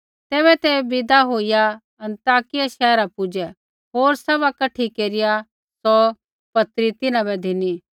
तैबै ते विदा होईया अन्ताकिया शैहरा पुजै होर सभा कठी केरिया सौ पत्री तिन्हां बै धिनी